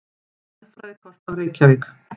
Jarðfræðikort af Reykjavík.